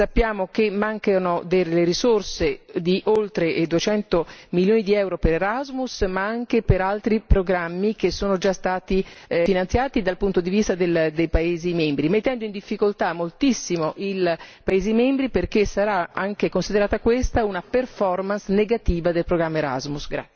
Sappiamo che mancano delle risorse di oltre 200 milioni di euro per Erasmus, ma anche per altri programmi, che sono già stati finanziati dal punto di vista dei paesi membri, mettendo in difficoltà moltissimo i paesi membri perché sarà considerata questa una performance negativa del programma Erasmus.